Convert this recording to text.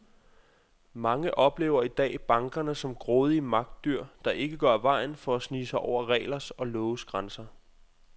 Mange oplever i dag bankerne som grådige magtdyr, der ikke går af vejen for at snige sig over reglers og loves grænser.